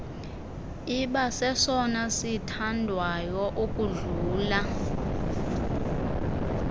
ibasesona sithandwayo ukudlula